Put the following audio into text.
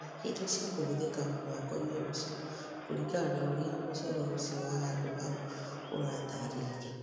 Menya indo cia kũhũthĩka mwako-inĩ ũcio kũringana na ũrĩa mũcoro ũcio wa handũ haũ ũratarĩria